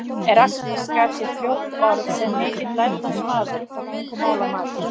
Erasmus gat sér fljótt orð sem mikill lærdómsmaður og tungumálamaður.